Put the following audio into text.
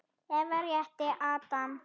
Eva rétti Adam.